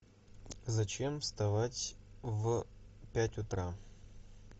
зачем вставать в пять утра